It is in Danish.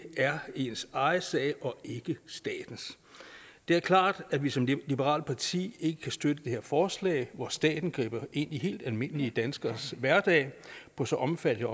er ens egen sag og ikke statens det er klart at vi som liberalt parti ikke kan støtte det her forslag hvor staten griber ind i helt almindelige danskeres hverdag på så omfattende